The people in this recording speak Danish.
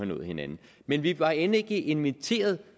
nået hinanden men vi var end ikke inviteret